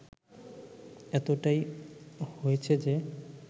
এতটাই হয়েছে যে